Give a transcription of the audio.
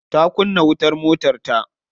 Ta kunna wutar motarta.